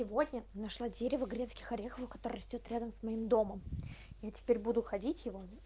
сегодня нашла дерево грецких орехов который растёт рядом с моим домом я теперь буду ходить его